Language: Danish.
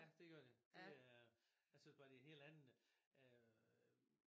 Ja det gør de det er jeg synes bare de helt andet